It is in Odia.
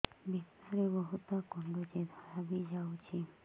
ଭିତରେ ବହୁତ କୁଣ୍ଡୁଚି ଧଳା ବି ଯାଉଛି